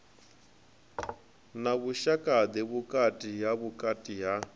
na vhushaka ḓe vhukati ha